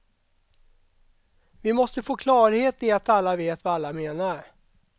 Vi måste få klarhet i att alla vet vad alla menar.